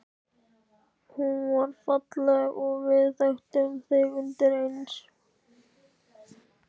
Hún var falleg og við þekktum þig undireins.